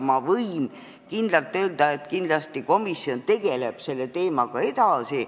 Ma võin öelda, et komisjon kindlasti tegeleb selle teemaga edasi.